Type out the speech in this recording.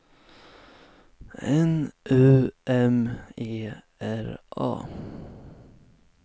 N U M E R A